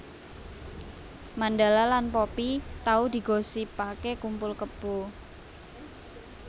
Mandala lan Poppy tau digosipake kumpul kebo